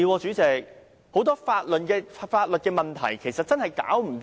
主席，很多法律問題現在尚未解決。